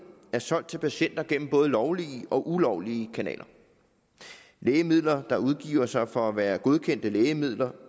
er solgt til patienter gennem både lovlige og ulovlige kanaler lægemidler der udgiver sig for at være godkendte lægemidler